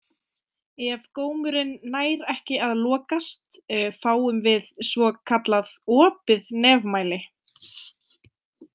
Ef gómurinn nær ekki að lokast fáum við svo kallað opið nefmæli.